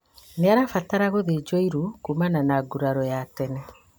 Nĩarabatra gũthĩnjwo iru kumana na nguraro ya tene